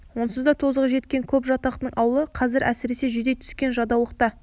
онсыз да тозығы жеткен көп жатақтың аулы қазір әсіресе жүдей түскен жадаулықта